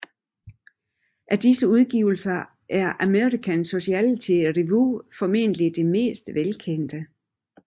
Af disse udgivelser er American Sociological Review formentlig det mest velkendte